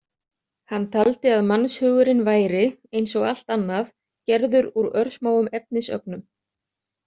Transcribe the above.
Hann taldi að mannshugurinn væri, eins og allt annað, gerður úr örsmáum efnisögnum.